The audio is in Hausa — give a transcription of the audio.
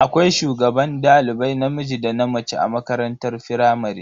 Akwai shugaban dalibai namiji da na mace a makarantar firamare.